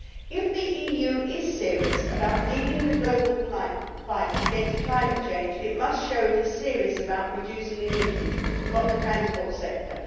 If the EU is serious about leading the global fight against climate change, it must show it is serious about reducing emissions from the transport sector.